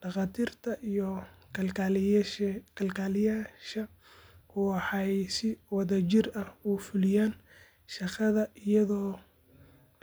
Dhakhaatiirta iyo kalkaaliyeyaasha waxay si wadajir ah u fulinayaan shaqada iyadoo